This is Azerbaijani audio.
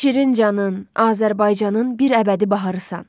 Şirincanın, Azərbaycanın bir əbədi baharısan.